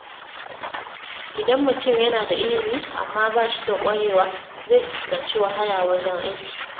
Idan mutum yana da ilimi amma ba shi da ƙwarewa, zai fuskanci wahala wajen aiki.